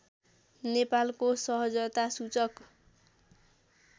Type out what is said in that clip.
नेपालको सहजता सूचक